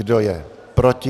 Kdo je proti?